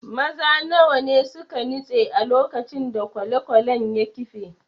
Maza nawa ne suka nutse a lokacin da kwale-kwalen ya kife?